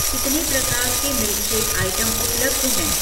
कितने प्रकार के मिल्कशेक आइटम उपलब्ध हैं?